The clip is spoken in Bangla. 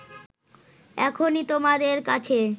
এখনই তোমাদের কাছে